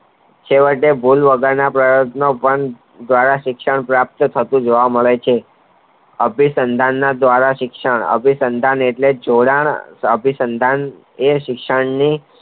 તોયેતો ભૂલ વગરના પ્રયત્નો પણ દ્વારા શિક્ષણ પણ પ્રાપ્ત થતું જોવા મળતું હોય છે અભી સંડાનો દ્વારા અભિસંદન એટલે જોડાણ અભિસંદનએ શિક્ષણની